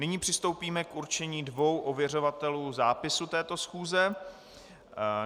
Nyní přistoupíme k určení dvou ověřovatelů zápisu této schůze.